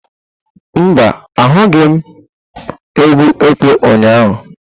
Mba, ahụghị m egwu ekpo ụnyahụ.